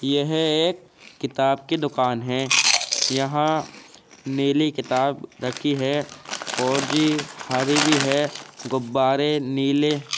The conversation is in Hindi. यह एक किताब की दुकान है। यहां नीली किताब रखी है और जी हरी भी है। गुब्बारे नीले --